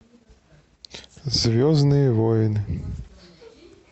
звездные войны